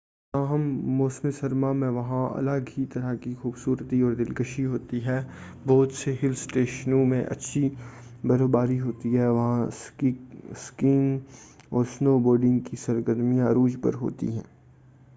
تاہم موسم سرما میں وہاں الگ ہی طرح کی خوبصورتی اور دلکشی ہوتی ہے بہت سے ہل اسٹیشوں میں اچھی برف باری ہوتی ہے اور وہاں اسکیئنگ اور سنوبورڈنگ کی سرگرمیاں عروج پر ہوتی ہیں